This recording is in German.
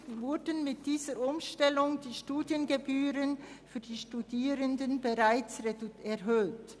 Gleichzeitig wurden mit dieser Umstellung die Studiengebühren bereits erhöht.